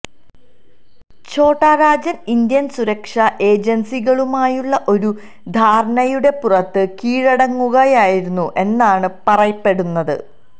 ഛോട്ടാരാജന് Indian സുരക്ഷാ ഏജന്സികളുമായുള്ള ഒരു ധാരണയുടെ പുറത്ത് കീഴടങ്ങുകയായിരുന്നു എന്നാണ് പറയെപ്പെടുന്നത്